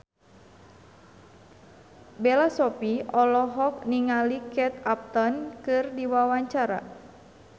Bella Shofie olohok ningali Kate Upton keur diwawancara